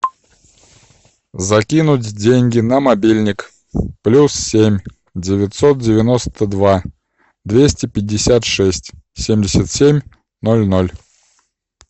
закинуть деньги на мобильник плюс семь девятьсот девяносто два двести пятьдесят шесть семьдесят семь ноль ноль